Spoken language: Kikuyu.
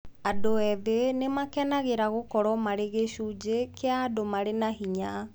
Andũ ethĩ nĩ maakenagĩra gũkorũo marĩ gĩcunjĩ kĩa andũ marĩ na hinya.